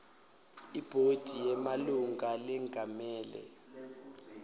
ibhodi yemalunga lengamele